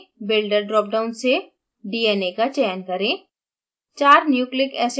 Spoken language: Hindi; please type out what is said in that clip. dna/rna builder drop down से dna का चयन करें